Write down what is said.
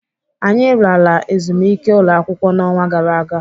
Anyị lara ezumike ụlọakwụkwọ n'ọnwa gara aga.